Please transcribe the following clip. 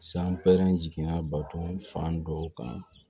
San pɛrɛnna baton fan dɔw kan